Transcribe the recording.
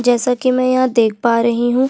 जैसा की मै यहाँ देख पा रही हूँ।